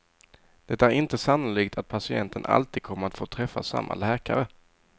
Det är inte sannolikt att patienten alltid kommer att få träffa samma läkare.